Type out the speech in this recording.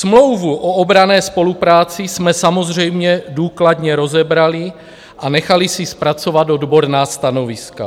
Smlouvu o obranné spolupráci jsme samozřejmě důkladně rozebrali a nechali si zpracovat odborná stanoviska.